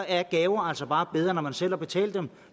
er gaver altså bare bedre når man selv har betalt dem